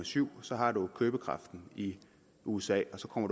syv så har man købekraften i usa og så kommer